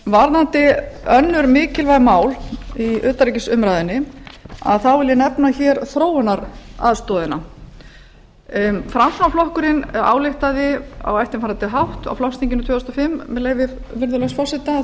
varðandi önnur mikilvæg mál í utanríkisumræðunni vil ég nefna hér þróunaraðstoðina framsóknarflokkurinn ályktaði á eftirfarandi hátt á flokksþinginu tvö þúsund og fimm með leyfi virðulegs forseta